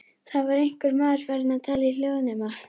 Það var einhver maður farinn að tala í hljóðnema.